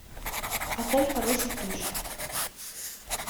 отель хороших душ